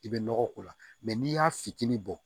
I bɛ nɔgɔ k'o la n'i y'a fitinin bɔ